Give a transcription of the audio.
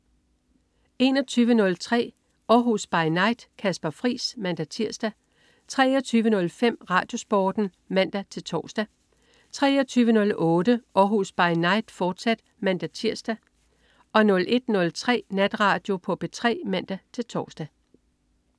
21.03 Århus By Night. Kasper Friis (man-tirs) 23.05 RadioSporten (man-tors) 23.08 Århus By Night, fortsat (man-tirs) 01.03 Natradio på P3 (man-tors)